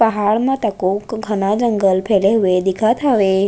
पहाड़ म तको घना जंगल फैले हुए दिखत हवे।